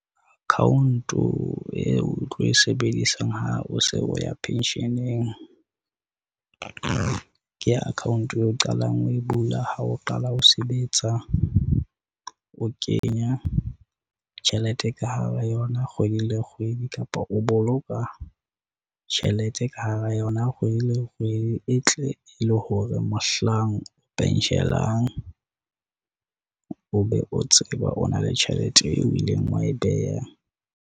Account-o eo o tlo e sebedisang ha o se o ya pension-eng, ke account-e o qalang ho e bula ha o qala o sebetsa. O kenya tjhelete ka hara yona, kgwedi le kgwedi kapa o boloka tjhelete ka hara yona kgwedi le kgwedi. E tle e le hore mohlang o penshelang, o be o tseba o na le tjhelete eo o ileng wa e beha.